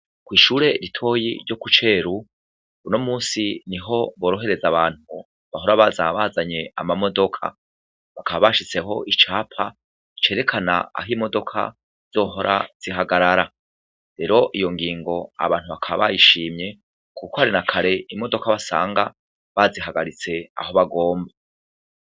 Kwishure ritoya ryo kuceru unomunsi niho borohereza abantu bahora baza bazanye amamodoka bakaba bashizeho icapa cerekana aho imodoka zizohora zihagarara rero iyongingo abantu bakaba bayishimye kuko nakare imodoka wasanga bazihagaritse aho bagomba